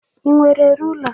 Ị nwere rula?